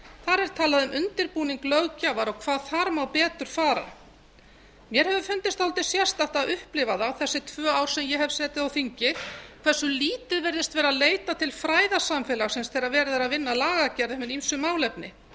þar er talað um undirbúning löggjafar og hvað þar má betur fara mér hefur fundist dálítið sérstakt að upplifa það þessi tvö ár sem ég hef setið á þingi hversu lítið virðist vera leitað til fræðasamfélagsins þegar verið er að vinna að lagagerð um hin ýmsu málefni